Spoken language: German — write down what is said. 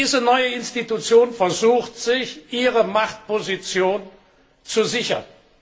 Diese neue Institution versucht, sich ihre Machtposition zu sichern.